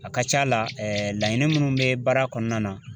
A ka ca la laɲini minnu bɛ baara kɔnɔna na